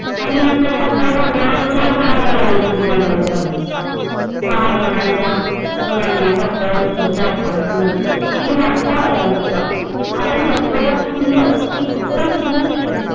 आणि एकदम मोठा मुलगा वायोलिन वाजवतो आहे लहान मुलांचा मुलांना मोठा वस्तुंचा आकर्षणअसतो आणि वाढत्या वयानुसार आपण जपलेला छंद कधी खुश होऊन